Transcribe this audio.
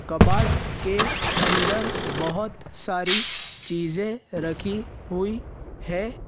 कबाट के अंदर बहुत सारी चीज रखी हुई है।